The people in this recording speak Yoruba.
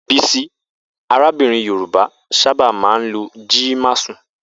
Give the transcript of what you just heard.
Bisi, arábìnrin Yorùbá, sábà máa ń lo Ji masun.